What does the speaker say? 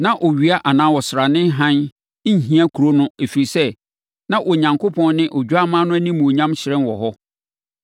Na owia anaa ɔsrane hann nhia kuro no ɛfiri sɛ, na Onyankopɔn ne Odwammaa no animuonyam hyerɛn wɔ hɔ.